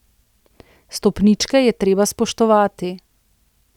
Stopničke je treba spoštovati.